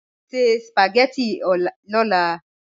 Sẹ̀ spagẹttị ọ̀là.